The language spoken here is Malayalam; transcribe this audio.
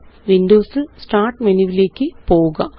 വിൻഡോസ് ല്Start മെനുവിലേയ്ക്ക് പോവുക